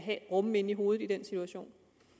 rumme inde i hovedet i den situation